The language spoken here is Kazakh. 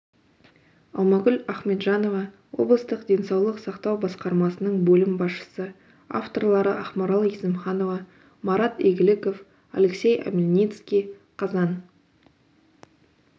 алмагүл ахметжанова облыстық денсаулық сақтау басқармасының бөлім басшысы авторлары ақмарал есімханова марат игіліков алексей омельницкий қазан